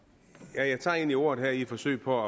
jeg tager egentlig ordet her i et forsøg på